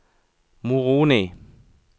Moroni